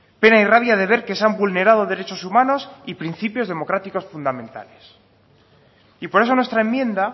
pena y rabia de ver que se han vulnerado derechos humanos y principios democráticos fundamentales y por eso nuestra enmienda